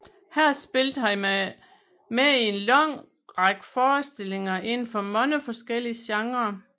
Her spillede han med i en lang række forestillinger inden for mange forskellige genrer